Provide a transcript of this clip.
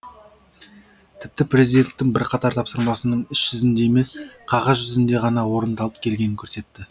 тіпті президенттің бірқатар тапсырмасының іс жүзінде емес қағаз жүзінде ғана орындалып келгенін көрсетті